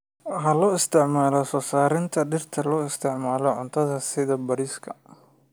Waxa loo isticmaalaa soo saarista dhirta loo isticmaalo cuntada sida bariiska.